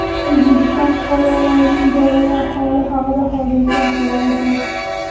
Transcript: O‘zbekiston fuqarolarining joriy ahvoli haqida hozircha axborot yo‘q.